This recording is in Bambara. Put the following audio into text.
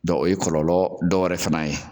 Dɔ o ye kɔlɔlɔ dɔwɛrɛ fana ye.